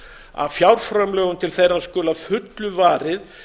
að fjárframlögum til þeirra skuli að fullu varið